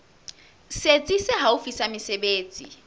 setsi se haufi sa mesebetsi